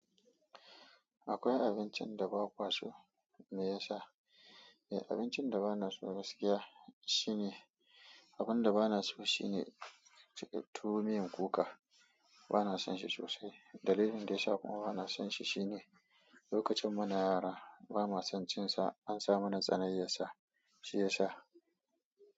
Akwai abincin da bakwa so me yasa, eh abincin da bana so gaskiya shine, abun da bana so shine tuwo miyan kuka bana son shi sosai. Dalilin da yasa kuma bana son shi shine lokacin muna yara bama son cin sa an sa mana tsanai yar sa shi ya sha.